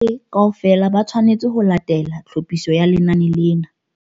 Bohle kaofela ba tshwanetse ho latela tlhophiso ya lenane lena.